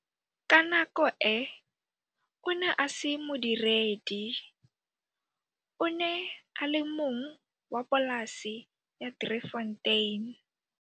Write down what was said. Ka nako e, o ne a se modiredi, o ne a le mong wa polase ya Driefontein.